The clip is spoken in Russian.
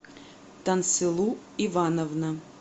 тансылу ивановна